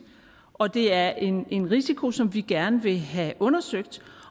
og det er en en risiko som vi gerne vil have undersøgt